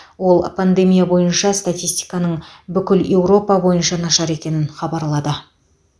ол пандемия бойынша статистиканың бүкіл еуропа бойынша нашар екенін хабарлады